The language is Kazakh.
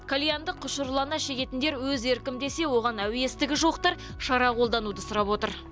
кальянды құшырлана шегетіндер өз еркім десе оған әуестігі жоқтар шара қолдануды сұрап отыр